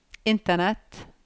internett